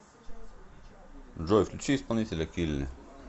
джой включи исполнителя килли